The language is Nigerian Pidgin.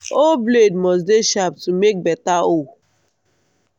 hoe blade must dey sharp to make beta hole.